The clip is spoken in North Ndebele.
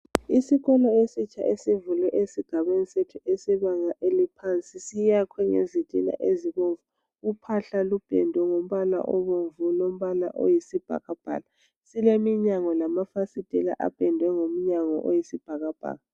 Isikolo esitsha esivulwe esigabeni sethu esebanga eliphansi siyakhwe ngezitina ezibomvu. Uphahla lupendwe ngombala obomvu lombala oyisibhakabhaka. Sileminyango lamafasitela apendwe ngombala oyisibhakabhaka.